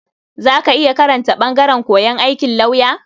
Za ka iya karanta ɓangaren koyon aikin lauya?